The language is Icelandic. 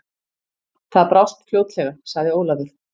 Það brást fljótlega, sagði Ólafur.